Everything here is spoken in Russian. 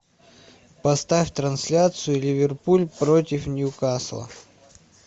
поставь трансляцию ливерпуль против ньюкасла